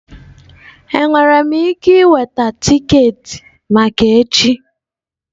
Enwere m ike iweta tiketi maka echi?